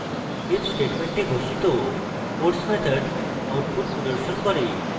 if statement ঘোষিত puts method output প্রদর্শন করবে